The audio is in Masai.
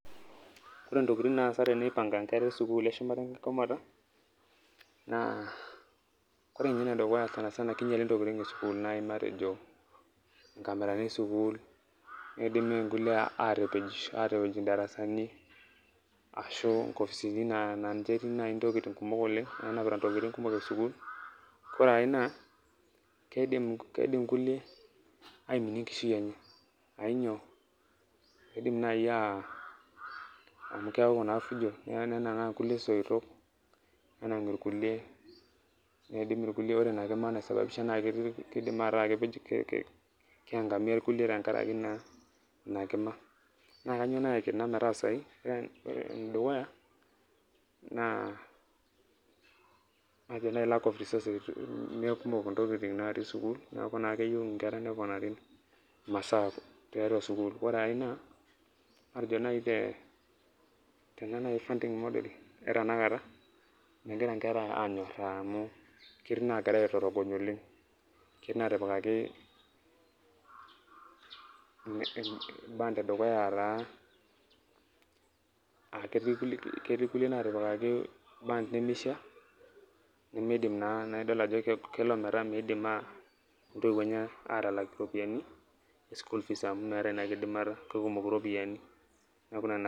ore ntokiting naasa tene eipanga nkera esukuul eshumata enkigomata, naa ore ninye enedukuya sana sana kinyali ntokiting esukuul, naai matejo nkamerani esukuul neidim nkulie atapej atapej ndarasani, ashuu nkopisini naa ninche etii naaji ntoking kumok oleng, naanapita ntokiting kumok tesukuul, kore ae naa keidim kulie aiminie enkishui enye, ainyoo keidim naaji aah amu keeku naa fujo nenang'aa kulie soitok, nenang irkulie neidim irkulie ore ina kima naisababisha naa ketii kidim ataa kepej, keiangamia kulie tenkaraki ina ina kima. naa kainyoo nayaki ena metaasayu ore ene dukuya naa matejo naai lack of resourses mekumok intokiting natii sukuul, neeku naa keyiu inkera neponari imasaa tiatua sukuul, ore ae naa matejo naai te tena naai funding model e tenakata megira nkera aanyoraa amu ketii nagirai aitorogony oleng, ketii natipikaki band e dukuya a taa ketii kulie natipikaki band nemeishia nemeidim naa, naidol ajo keg kelo ometaa meidim aa intiwuo enye atalaak iropiani school fees amu meeta ina kidimata kekumok iropiani neeku ina naa.